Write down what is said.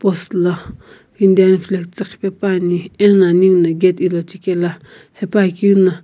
post lo Indian flag tsüqhüpe puani ena ninguno gate ilochekela hepuakeuno.